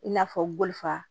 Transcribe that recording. I n'a fɔ boli fa